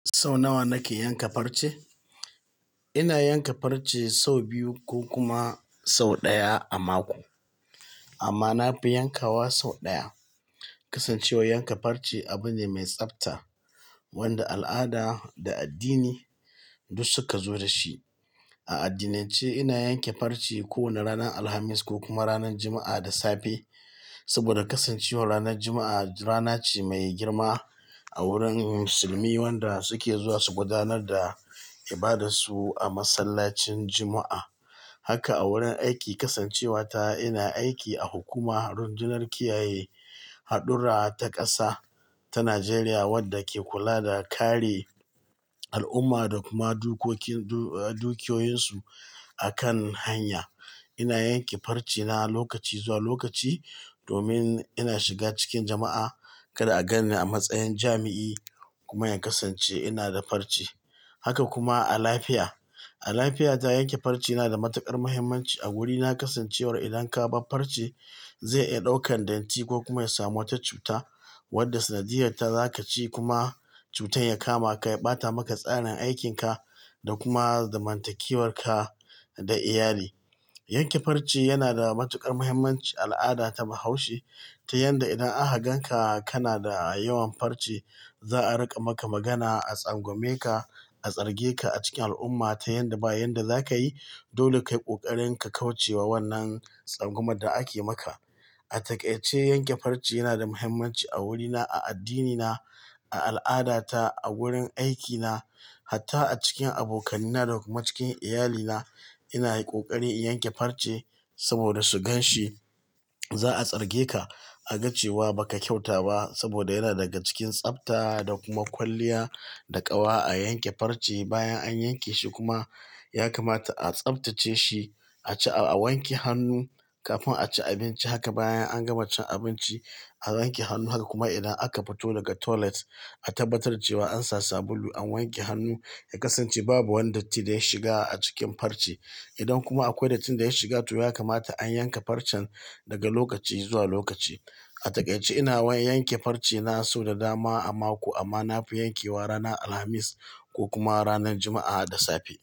Sau nawa nake yanka farce? Ina yanka farce sau biyu ko kuma sau ɗaya a mako. Amma na fi yankawa sau ɗaya. Kasancewar yanka farce abu ne mai tsafta wanda al'ada da addini duk suka zo dashi. A addinance, ina yanke farce kowane ranar Alhamis ko kuma ranar Juma'a da safe. Saboda kasancewar ranar Juma'a rana ce mai girma a wurin musulmi, wanda suke zuwa su gudanar da ibadarsu a masallacin Juma'a. Haka a wurin aiki kasancewa ta ina aiki a hukumar rundunar kiyaye haɗurra ta ƙasa ta Najeriya, wadda ke kula da kare al'umma da kuma dukoki, dukiyoyinsu a kan hanya. Ina yanke farce na lokaci zuwa lokaci domin ina shiga cikin jama'a. Kada a gan ni a matsayin jami'i kuma in kasance ina da farce. Haka kuma a lafiya. A lafiya ta, yanke farce na da matuƙar muhimmanci a wurina kasancewar idan ka bar farce, zai iya ɗaukan datti ko kuma ya samu wata cuta wadda sanadiyyarta zaka ci kuma cutar ya kama ka ya ɓata maka tsarin aikin ka da kuma zamantakewar ka da iyali. Yanke farce yana da matuƙar muhimmanci a al'ada ta bahaushe ta yanda idan aka ganka kana da yawan farce, za'a rika maka magana, a tsangwame ka, a tsarge ka a cikin al'umma ta yanda ba yanda zaka yi dole kai kokarin ka kauce wa wannan tsangwamar da ake maka. A takaice, yanke farce yana da muhimmanci a wurina, a addinina, a al'adata, a wurin aikina hatta a cikin abokanaina da kuma cikin iyalina. Ina kokari in yanke farce saboda su gan shi. Za'a tsarge ka a ga cewa ba ka kyauta ba saboda yana daga cikin tsafta da kuma kwalliya da ƙawa a yanke farce. Bayan an yanke shi kuma, ya kamata a tsaftace shi, a ci, a wanke hannu kafin a ci abinci. Haka bayan an gama cin abinci, a wanke hannu. Haka kuma idan aka fito daga toilet, a tabbatar cewa an sa sabulu, an wanke hannu. Ya kasance babu wani datti da ya shiga a cikin farce. Idan kuma akwai datti da ya shiga, to ya kamata an yanka farcen daga lokaci zuwa lokaci. A takaice ina wan-- yanke farce na sau da dama a mako amma na fi yankewa ranar Alhamis ko kuma ranar Juma'a da safe.